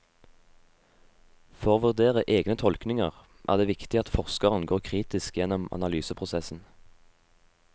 For å vurdere egne tolkninger er det viktig at forskeren går kritisk gjennom analyseprosessen.